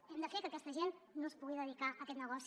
hem de fer que aquesta gent no es pugui dedicar a aquest negoci